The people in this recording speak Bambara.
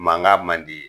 Mankan man di